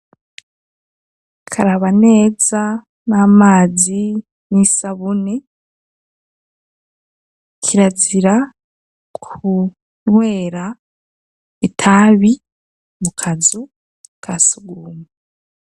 Karaba neza n'amazi n'isabune, kirazira, kunwera, itabi ,mu kazu, kasugumwe.